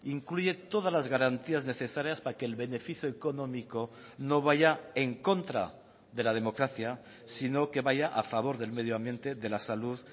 incluye todas las garantías necesarias para que el beneficio económico no vaya en contra de la democracia sino que vaya a favor del medio ambiente de la salud